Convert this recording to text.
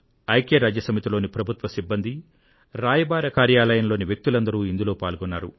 UN లోని ప్రభుత్వ సిబ్బంది దూతల కార్యాలయంలోని వ్యక్తులందరూ ఇందులో పాల్గొన్నారు